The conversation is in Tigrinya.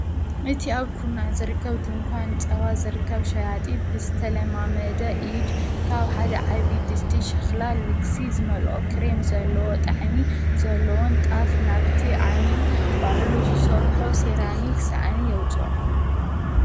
።እቲ ኣብ ኩናዕ ዘርከብ ድንኳን ጸዋ ዘርከብ ሸያጢ ብስተለማመደ ኢድ ካብ ሓደ ዓብድ ድስቲ ሽኽላል ልግሲ ዝመልኦ ክሬም ዘለዎ ጠዕሚ ዘለዎን ጣፍ ናብቲ ዓሚል ባሕሉ ዘሠርሖ ሲራሚ ክሰእኒ የውፅእ